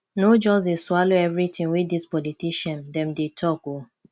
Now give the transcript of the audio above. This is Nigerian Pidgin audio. no just dey swallow everytin wey dis politician dem dey talk o